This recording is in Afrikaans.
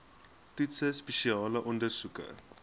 toetse spesiale ondersoeke